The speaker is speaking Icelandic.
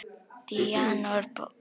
Díana úr bók.